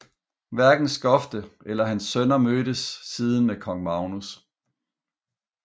Hverken Skofte eller hans sønner mødtes siden med kong Magnus